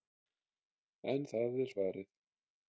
En það er farið.